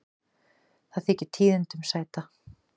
Þetta þykir tíðindum sæta.